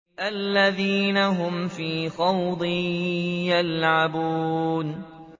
الَّذِينَ هُمْ فِي خَوْضٍ يَلْعَبُونَ